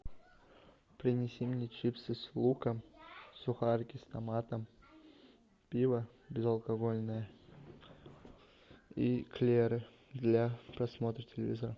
принеси мне чипсы с луком сухарики с томатом пиво безалкогольное и эклеры для просмотра телевизора